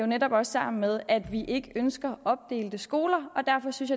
netop også sammen med at vi ikke ønsker opdelte skoler derfor synes